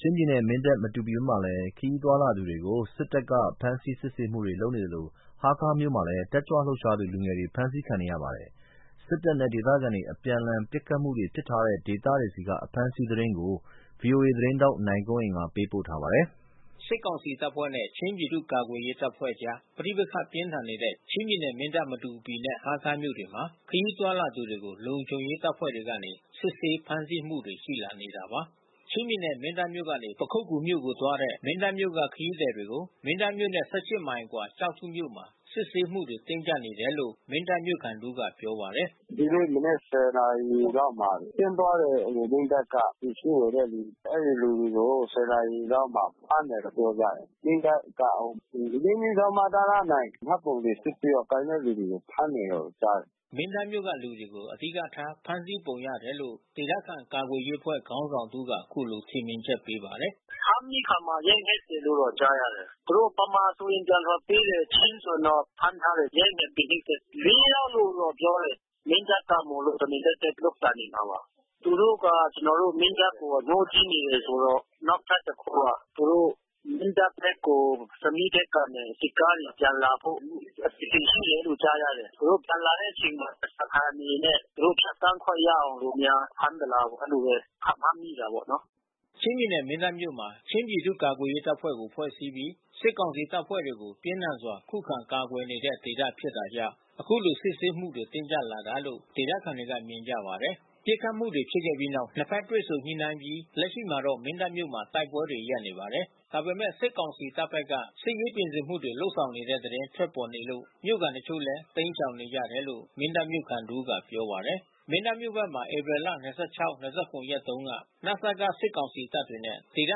ချင်းပြည်နယ်၊ မင်းတပ်၊ မတူပီဘက်မှာ ခရီးသွားလာတဲ့သူတွေကို စစ်တပ်က စစ်ဆေးဖမ်းဆီးမှုတွေလုပ်နေသလို ဟားခါးမြို့မှာလဲ တက်ကြွလှုပ်ရှားသူ လူငယ်တွေ ဖမ်းဆီးခံရပါတယ်။ စစ်တပ်နဲ့ ဒေသခံလုံခြုံရေးအဖွဲ့တွေ အပြန်အလှန်ပစ်ခတ်မှုတွေ ဖြစ်ထားတဲ့ဒေသတွေက အဖမ်းအဆီးသတင်းကို ဗွီအိုအေသတင်းထောက် နိုင်ကွန်း အိန်ကနေ သတင်းပေးပို့ထားပါတယ်။ စစ်ကောင်စီတပ်ဖွဲ့နဲ့ ချင်းပြည်သူ့ ကာကွယ်ရေးတပ်ဖွဲ့အကြား ပဋိပက္ခပြင်းထန်နေတဲ့ ချင်းပြည်နယ် မင်းတပ်၊ မတူပီ နဲ့ဟားခါးမြို့တွေမှာ ခရီးသွားလာသူတွေကို လုံခြုံရေးတပ်ဖွဲ့တွေကနေ စစ်ဆေးဖမ်းဆီးမှုတွေရှိလာနေတာပါ။ ချင်းပြည်နယ်၊ မင်းတပ်မြို့ကနေ ပခုက္ကူမြို့နယ်ကိုသွားတဲ့ မင်းတပ်မြို့က ခရီးသည်တွေကို မင်းတပ်မြို့နဲ့ မိုင် အကွာ ကျောက်ထုမြို့မှာ စစ်ဆေးမှုတွေတင်းကြပ်နေတယ်လို့ မင်းတပ်မြို့ ခံတဦးကပြောပါတယ်။ “သူတို့မနက် နာရီလောက်မှာ ဆင်းသွားတဲ့ မင်းတပ်ကပစ္စည်းဝယ်တဲ့လူ။ အဲဒီလူတွေကို နာရီလောက်မှာ ဖမ်းတယ်လို့ပြောကြတယ်။ မင်းတပ်က ၄/မတန မှတ်ပုံတင်စစ်ဆေးတော့ ကိုင်တဲ့သူတွေကို ဖမ်းတယ်လို့ကြားတယ်။” မင်းတပ်မြို့က လူတွေကို အဓိကထား ဖမ်းဆီးပုံရတယ်လို့ ဒေသခံကာကွယ်ရေးအဖွဲ့ခေါင်းဆောင်တဦးက အခုလို ထင်မြင်ချက်ပေးပါတယ်။ “ ဖမ်းပြီးအခါမှာ ရိုက်နှက်တယ်လို့ကြားရတယ်။ သူတို့ဗမာဆိုရင် ပြန်လွှတ်ပေးတယ်။ ချင်းဆိုရင်တော့ ဖမ်းထားတယ်။ ရိုက်နှက်ပြီး နှိပ်စက်တယ်။ ယောက်လို့တော့ပြောတယ်။ မင်းတပ်က မို့လို့ တမင်သက်သက်လုပ်တာနေမှာပါ။ သူတို့က ကျွန်တော်တို့ မင်းတပ်ကိုအငြိုးကြီးနေတယ်ဆိုတော့။ နောက်ထပ်တခုက သူတို့ မင်းတပ်ဖက်ကို ဆမီးဖက် ကနေ စစ်ကားတွေပြန်လာဖို့ အစီစဉ်ရှိတယ်လို့ကြားရတယ်။ သူတို့ပြန်လာတဲ့အချိန်မှာ ဓားစာခံအနေနဲ့ သူတို့ဖြတ် သန်းခွင့်ရအောင်လို့ များဖမ်းသလားပေါ့ အဲဒီလိုဘဲ ခန့်မှန်းတာပေါ့နော်။” ချင်းပြည်နယ်၊ မင်းတပ်မြို့မွာ ချင်းပြည်သူ့ ကာကွယ်ရေးတပ်ဖွဲ့ ဖွဲ့စည်းပြီး စစ်ကောင်စီတပ်ဖွဲ့တွေကို ပြင်းထန်စွာ ခုခံ ကာကွယ်နေတဲ့ဒေသ ဖြစ်တာကြောင့် အခုလို စစ်ဆေးမှုတွေတင်းကြပ်တာလို့ ဒေသခံတွေက မြင်ကြပါတယ်။ ပစ်ခတ်မှုတွေဖြစ်ခဲ့ပြီးနောက် ၂ ဘက် တွေ့ဆုံညှိနှိုင်းအပြီး လက်ရှိမှာတော့ မင်းတပ်မြို့မှာ တိုက်ပွဲတွေ ရပ်နေပါတယ်။ ဒါပေမဲ့ စစ်ကောင်စီတပ်ဖက်က စစ်ရေးပြင်ဆင်မှုတွေ လုပ်ဆောင်နေတဲ့ သတင်းထွက်ပေါ်နေလို့ မြို့ခံတချို့လည်း တိမ်းရှောင် နေကြတယ်လို့ မင်းတပ်မြို့ခံတဦးကပြောပါတယ်။ မင်းတပ်မြို့ဖက်မှာ ဧပြီလ ရက်တုန်းက နစက စစ်ကောင်စီတပ်တွေနဲ့ ဒေသ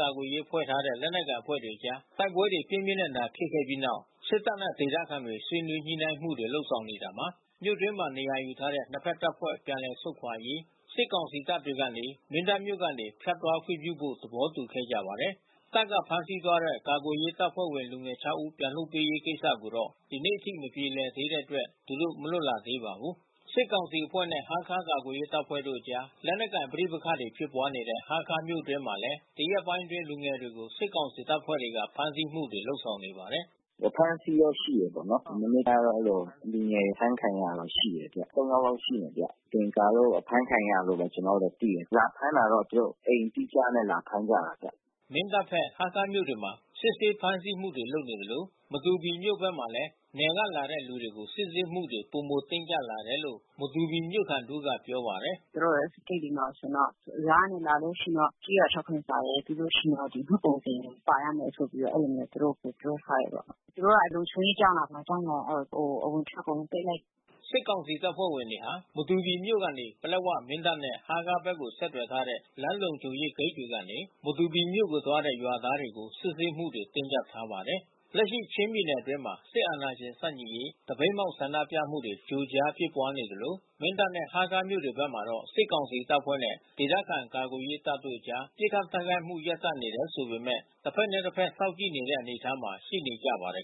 ကာကွယ်ရေးဖွဲ့ ထားတဲ့ လက်နက်ကိုင်အဖွဲ့တွေကြား တိုက်ပွဲတွေ ပြင်းပြင်းထန်ထန် ဖြစ်ခဲ့ပြီးနောက် စစ်တပ်နဲ့ ဒေသခံတွေ ဆွေးနွေး ညှိုနှိုင်းမှုတွေ လုပ်နေတာမှာ မြို့တွင်းမှာနေရာယူထားတဲ့ နှစ်ဖက်တပ်ဖွဲ့ ျပန်လည်ဆုတ်ခွာရေး စစ်ကောင်စီတပ်တွေ ကနေ မင်းတပ်မြို့ကနေဖြတ်သွားခွင့် ပြုဖို့ သဘောတူခဲ့ကြပါတယ်။ တပ်ကဖမ်းဆီးသွားတဲ့ ကာကွယ်ရေးတပ်ဖွဲ့ ဝင် လူငယ် ဦးပြန်လွှတ်ပေးရေးကိစ္စကိုတော့ ဒီနေ့အထိ မပြေလည်သေးတဲ့အတွက် သူတို့ မလွတ်လာသေးပါဘူး။ စစ်ကောင်စီတပ်ဖွဲ့နဲ့ ဟားခါးမြို့ကာကွယ်ရေးတပ်ဖွဲ့အကြား လက်နက်ကိုင်ပဋိပက္ခဖြစ်ပွါးနေတဲ့ ဟားခါးမြို့အတွင်းမှာလဲ ဒီရက်ပိုင်းတွေအတွင်း လူငယ်တွေကို စစ်ကောင်စီတပ်ဖွဲ့တွေက ဖမ်းဆီးမှုတွေရှိနေပါတယ်။ “အဖမ်းဆီးတော့ ရှိတယ်ပေါ့နော်။ မနေ့ကတော့အဲဒီလို လူငယ် အဖမ်းခံရတာတော့ရှိတယ်။ ယောက်လာက်ရှိမယ်ဗျ။ မသင်္ကာလို့ ဖမ်းခံရတာလို့ဘဲကျွန်တော်တို့တော့သိတယ်။ လာဖမ်းတာတော့သူတို့အိမ်အတိအကျနဲ့ လာဖမ်းကြတာဗျ။” မင်းတပ်ဖက်၊ ဟားခါးမြို့တွေမှာ စစ်ဆေးဖမ်းဆီးမှုတွေ လုပ်နေသလို မတူပီမြို့ဘက်မှာလဲ နယ်ကလာတဲ့သူတွေကို စစ်ဆေးမှုတွေ ပိုမိုတင်းကြပ်လာတယ်လို့ မတူပီမြို့ခံတဦး က ပြောပါတယ်။ “သူတို့ဂိတ်တွေမှာဆိုရင်တော့ ရွာကနေလာလို့ရှိရင်ဆိုရင်တော့ ကျေးရွာထောက်ခံစာရယ် ပြီးလို့ရှိရင် မှတ်ပုံတင် ပါရ မယ်ဆိုပြီးတော့ အဲဒီလိုမျိုးသူတို့ပြောထားတယ်ပေါ့။ သူတို့က လုံခြုံရေးကြောင့်လား ဘာကြောင့်လဲ အဝင်အထွက် အကုန်လုံးပိတ်လိုက်တယ်။” စစ်ကောင်စီတပ်ဖွဲ့ဝင်တွေဟာ မတူပီမြို့မှ ပလက်ဝ၊ မင်းတပ် နဲ့ဟားခါးဘက်ကို ဆက်သွယ်ထားတဲ့ လမ်းလုံခြုံ ရေးဂိတ်တွေကနေ မတူပီမြို့ကို သွားတဲ့ ရွာသားတွေကို စစ်ဆေးမှုတွေ တင်းကြပ်ထားပါတယ်။ လက်ရှိချင်းပြည်နယ်အတွင်းမှာ စစ်အာဏာရှင်ဆန့်ကျင်ရေး သပိတ်မှောက်ဆန္ဒပြမှုတွေ ကြိုကြားဖြစ်ပွါးနေသလို မင်းတပ်နဲ့ ဟားခါးမြို့ဘက်မှာတော့ စစ်ကောင်စီတပ်ဖွဲ့နဲ့ ဒေသခံကာကွယ်ရေးတပ်တို့အကြား ပစ်ခတ်တိုက်ခိုက်မှု ရပ်တန့်နေတယ်ဆိုပေမဲ့ တဖက်နဲ့တဖက်စောင့်ကြည့်နေတဲ့ အနေအထားမှာ ရှိနေကြပါတယ်